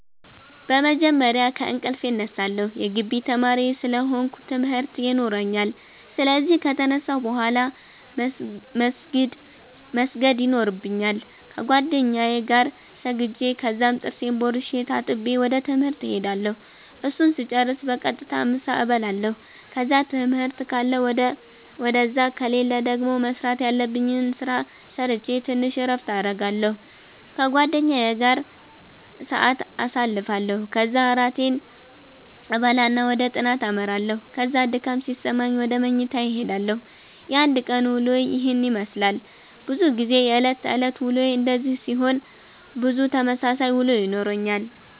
በመጀመርያ ከእንቅልፌ እነሳለሁ የጊቢ ተማሪ ስለ ሆነኩ ትምርት የኖራኛል ስለዚህ ከተነሳሁ ቡሃላ መስገድ የኖርብኛል ከጌደኛዬ ጋር ሰግጄ ከዛም ጥርሴን ቦርሼ ተጣጥቤ ወደ ትምህርት እሄዳለሁ እሱን ስጨርስ በቀጥታ ምሳ እበላለሁ ከዛ ትምህርት ካለ ውደዛ ከሌለ ደገሞ መስራተ ያለብኝን ስራ ሰረቼ ተንሽ እረፍት አረጋለሁ ከጓደኛዬ ጋር ሰአት ኣሳልፋለሁ ከዛ እራቴን እበላና ወደ ጥናተ አመራለሁ ከዛ ድካም ሲሰማኝ ውደ መኝታዬ እሄዳለሁ። የአንድ ቀን ዉሎዬ የሄን የመስላል። በዙ ጊዜ የእለት ተእለት ዉሎዬ እንደዚህ ሲሆን ብዙ ተመሳሳይ ዉሎ ይኖረኛል።